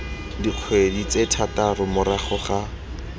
dikgwedi tse thataro morago ga